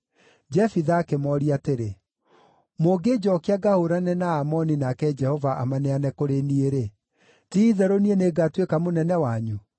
Jefitha akĩmooria atĩrĩ, “Mũngĩnjookia ngahũũrane na Aamoni nake Jehova amaneane kũrĩ niĩ-rĩ, ti-itherũ niĩ nĩngatuĩka mũnene wanyu?”